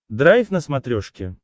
драйв на смотрешке